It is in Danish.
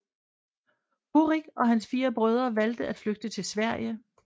Horik og hans fire brødre valgte at flygte til Sverige